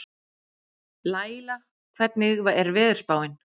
Laíla, hvernig er veðurspáin?